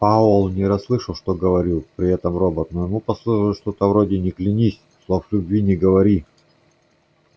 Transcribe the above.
пауэлл не расслышал что говорил при этом робот но ему послышалось что-то вроде не клянись слов любви не говори